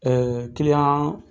Ɛɛ kiliyan